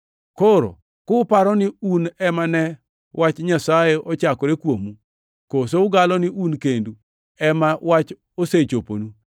Koro kuparo ni un ema ne wach Nyasaye ochakore kuomu? Koso ugalo ni un kendu ema wach osechoponu?